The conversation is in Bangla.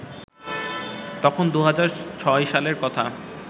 তখন ২০০৬ সালের কথা